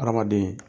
Hadamaden